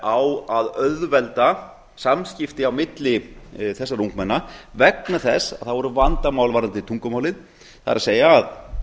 á að auðvelda samskipti á milli þessara ungmenna vegna þess að það voru vandamál varðandi tungumálið það er að